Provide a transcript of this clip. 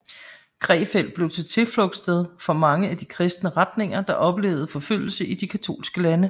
Krefeld blev til tilflugtssted for mange af de kristne retninger der oplevede forfølgelse i de katolske lande